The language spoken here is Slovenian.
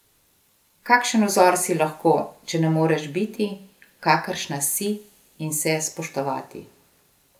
Kakšen vzor si lahko, če ne moreš biti, kakršna si in se spoštovati!